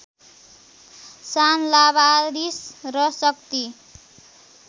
शान लावारिस र शक्ति